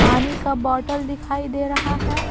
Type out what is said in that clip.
पानी का बोतल दिखाई दे रहा है।